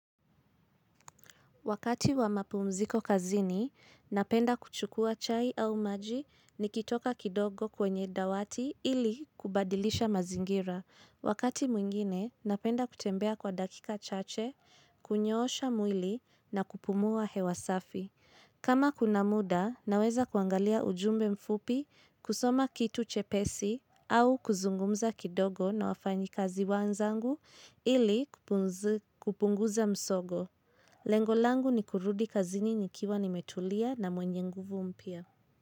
Wakati wa mapu mziko kazini, napenda kuchukua chai au maji ni kitoka kidogo kwenye dawati ili kubadilisha mazingira. Wakati mwingine, napenda kutembea kwa dakika chache, kunyoosha mwili na kupumua hewasafi. Kama kuna muda, naweza kuangalia ujumbe mfupi, kusoma kitu chepesi au kuzungumza kidogo na wafanyi kazi wanzangu ili kupunguza msogo. Lengo langu ni kurudi kazini nikiwa nimetulia na mwenye nguvu mpya.